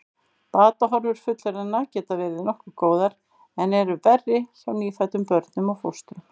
Batahorfur fullorðinna geta verið nokkuð góðar en eru verri hjá nýfæddum börnum og fóstrum.